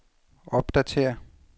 opdatér